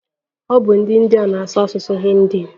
Ọ bu ndi india na-asụ asụsụ hindi